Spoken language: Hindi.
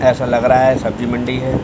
ऐसा लग रहा है सब्जी मंडी है।